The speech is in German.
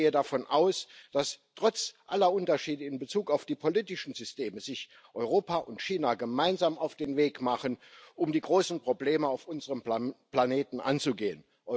Ich gehe davon aus, dass sich Europa und China trotz aller Unterschiede in Bezug auf die politischen Systeme gemeinsam auf den Weg machen, um die großen Probleme auf unserem Planeten anzugehen.